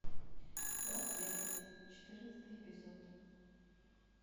лас вегас четырнадцатый эпизод